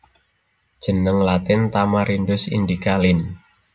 Jeneng Latin Tamarindus indica Linn